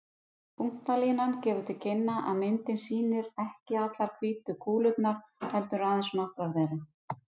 Punktalínan gefur til kynna að myndin sýnir ekki allar hvítu kúlurnar, heldur aðeins nokkrar þeirra.